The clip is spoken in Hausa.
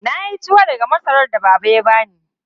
Na yi tuwo daga masarar da Baba ya bani.